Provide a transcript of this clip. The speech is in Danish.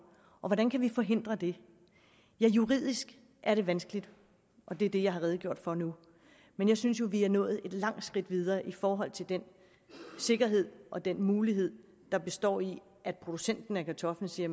hvordan kan vi forhindre det ja juridisk er det vanskeligt og det er det jeg har redegjort for nu men jeg synes jo at vi er nået et langt skridt videre i forhold til den sikkerhed og den mulighed der består i at producenten af kartoflen siger